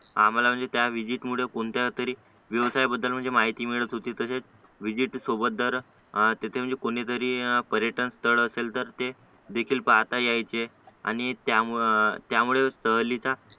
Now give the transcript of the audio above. आम्हाला म्हणजे त्या व्हिजिट मुळे कोणत्यातरी व्यवसायाबद्दल म्हणजे माहिती मिळत होती तसेच विजिट सोबत दर तिथे म्हणजे कोणीतरी पर्यटन स्थळ असेल तर ते पाहता यायचे आणि त्या त्यामुळे सहलीचा